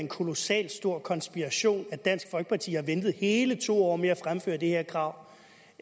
en kolossalt stor konspiration at dansk folkeparti har ventet hele to år med at fremføre det her krav